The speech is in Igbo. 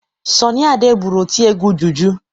Sọnị Ade bụrụ otiegwu juju.